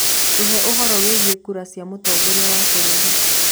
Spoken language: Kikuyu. tuhe ũhoro wĩĩgĩe kura cĩa mutongoria wa bururi